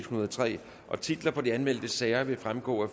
hundrede og tre titler på de anmeldte sager vil fremgå af